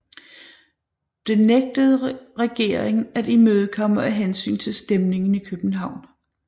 Det nægtede regeringen at imødekomme af hensyn til stemningen i København